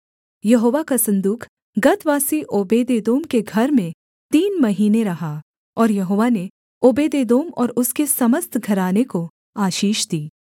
यहोवा का सन्दूक गतवासी ओबेदेदोम के घर में तीन महीने रहा और यहोवा ने ओबेदेदोम और उसके समस्त घराने को आशीष दी